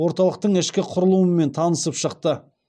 орталықтың ішкі құрылымымен танысып шықты